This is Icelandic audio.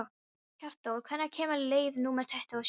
Hjörtþór, hvenær kemur leið númer tuttugu og sjö?